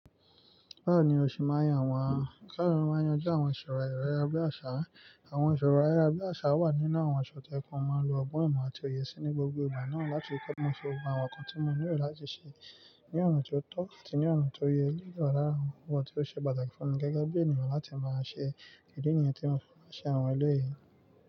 Bẹ́ẹ̀ni, mó ṣe ma yan, àwọn káàkiri máa ń yanjú àwọn ìṣòro ayára bí àṣà. Àwọn ìṣòro ayára bí àṣà wà nínú àwọn aṣọ tí ẹkùn máa ń lo ọgbọ́n ìmọ̀ àti òye sí ní gbogbo ìgbà náà láti kọ́ ọmọ sọ wá àwọn nǹkan tí mo nílò láti ṣe ní ọ̀nà tó tọ́ àti ní ọ̀nà tó yẹ ní ìwà lára àwọn nǹkan tí ó ṣe pàtàkì fún mi gẹ́gẹ́ bí ènìyàn láti máa ṣe kìíni ènìyàn tí mo fẹ́ máa ṣe àwọn ẹlẹ́yìí.